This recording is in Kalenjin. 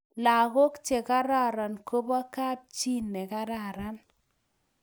langok chekararanen kobo kap chii ne kararan